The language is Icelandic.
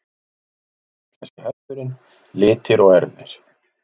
Íslenski hesturinn- litir og erfðir.